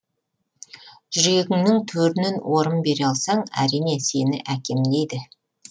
жүрегіңнің төрінен орын бере алсаң әрине сені әкем дейді